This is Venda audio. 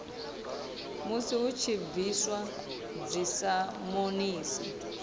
musi hu tshi bviswa dzisamonisi